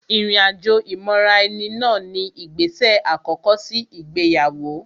Ìrìn àjò ìmọra-ẹni náà ni ìgbésè àkọ́kọ́ sí ìgbéyàwó